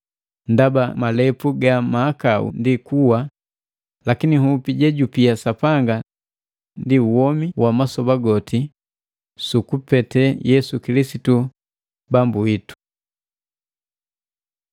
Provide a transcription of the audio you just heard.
Ndaba malepu ga mahakau ndi kuwa lakini nhupi jejupia Sapanga ndi womi wa masoba goti su kupete Yesu Kilisitu, Bambu witu.